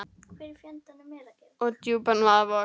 og djúpan vaða vog.